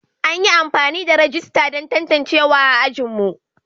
An yi amfani da rajista don tantancewa a ajinmu.